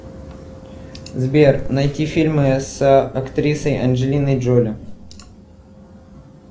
сбер найти фльмы с актрисой анджелиной джоли